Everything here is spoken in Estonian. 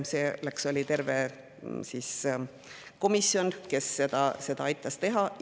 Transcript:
Selleks oli terve komisjon, kes seda aitas teha.